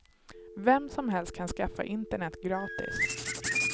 Vem som helst kan skaffa internet gratis.